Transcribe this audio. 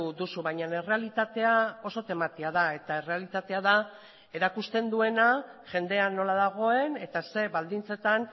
duzu baina errealitatea oso tematia da eta errealitatea da erakusten duena jendea nola dagoen eta ze baldintzetan